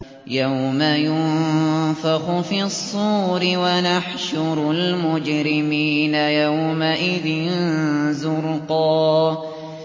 يَوْمَ يُنفَخُ فِي الصُّورِ ۚ وَنَحْشُرُ الْمُجْرِمِينَ يَوْمَئِذٍ زُرْقًا